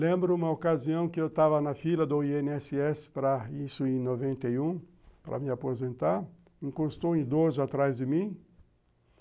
Lembro uma ocasião que eu estava na fila do i ene esse esse para isso em noventa e um, para me aposentar, encostou um idoso atrás de mim.